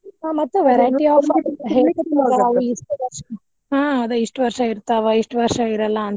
ಮತ್ತ್ verity ಇಹಾ ಇಷ್ಟ್ ವರ್ಷಾ ಇರ್ತಾವ, ಇಷ್ಟ್ ವರ್ಷಾ ಇರಲ್ಲಾ.